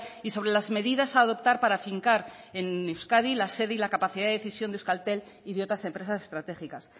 y sobre las medidas a adoptar para afincar en euskadi la sede y la capacidad de decisión de euskaltel y de otras empresas estratégicas